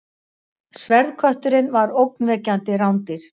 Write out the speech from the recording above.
Sverðkötturinn var ógnvekjandi rándýr.